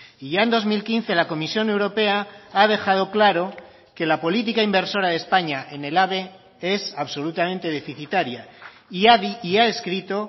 y ya en dos mil quince la comisión europea ha dejado claro que la política inversora de españa en el ave es absolutamente deficitaria y ha escrito